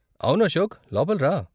అవును అశోక్, లోపల రా.